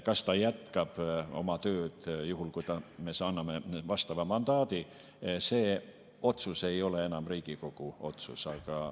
Kas ta jätkab oma tööd, juhul kui me anname vastava mandaadi, see otsus ei ole enam Riigikogu otsus.